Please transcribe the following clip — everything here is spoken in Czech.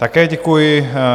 Také děkuji.